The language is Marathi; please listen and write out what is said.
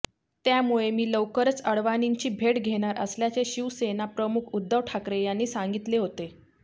त्यामुळे मी लवकरच अडवाणींची भेट घेणार असल्याचे शिवसेनाप्रमुख उद्धव ठाकरे यांनी सांगितले होते